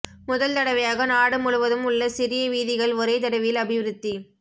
முதல் தடவையாக நாடு முழுவதும் உள்ள சிறிய வீதிகள் ஒரே தடவையில் அபிவிருத்தி